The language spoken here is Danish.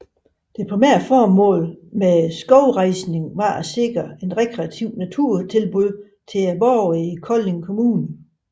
Det primære formål med skovrejsningen var at sikre et rekreativt naturtilbud til Kolding kommunes borgere